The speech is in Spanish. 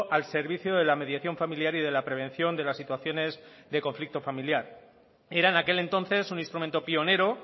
al servicio de la mediación familiar y de la prevención de las situaciones de conflicto familiar era en aquel entonces un instrumento pionero